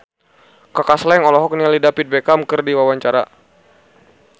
Kaka Slank olohok ningali David Beckham keur diwawancara